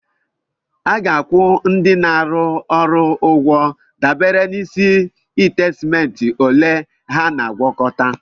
A ga-akwụ ndị na-arụ ọrụ ụgwọ dabere n'isi ite simenti ole ha na-agwakọta.